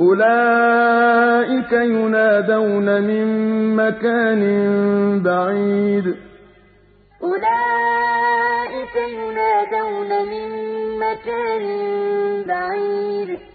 أُولَٰئِكَ يُنَادَوْنَ مِن مَّكَانٍ بَعِيدٍ وَلَوْ جَعَلْنَاهُ قُرْآنًا أَعْجَمِيًّا لَّقَالُوا لَوْلَا فُصِّلَتْ آيَاتُهُ ۖ أَأَعْجَمِيٌّ وَعَرَبِيٌّ ۗ قُلْ هُوَ لِلَّذِينَ آمَنُوا هُدًى وَشِفَاءٌ ۖ وَالَّذِينَ لَا يُؤْمِنُونَ فِي آذَانِهِمْ وَقْرٌ وَهُوَ عَلَيْهِمْ عَمًى ۚ أُولَٰئِكَ يُنَادَوْنَ مِن مَّكَانٍ بَعِيدٍ